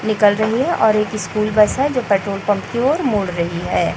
निकल रही है और एक स्कूल बस है जो पेट्रोल पंप की ओर मुड़ रही है।